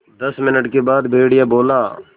दस मिनट के बाद भेड़िया बोला